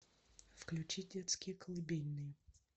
включи детские колыбельные